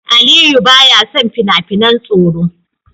Aliyu baya son fina-finan tsoro.